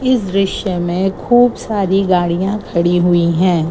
इस दृश्य में खूब सारी गाड़ियां खड़ी हुई हैं।